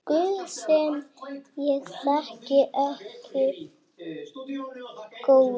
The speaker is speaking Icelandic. Guð sem ég þekki ekki.